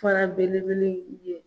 Fara belebele in